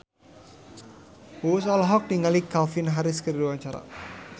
Uus olohok ningali Calvin Harris keur diwawancara